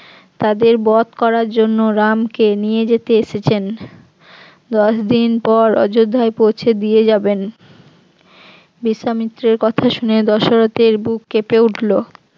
তাদের বধ করার জন্য রামকে নিয়ে যেতে এসেছেন, দশদিন পর অযোধ্যায় পৌঁছে দিয়ে যাবেন বিশ্বামিত্রের কথা শুনে দশরথের বুক কেঁপে উঠল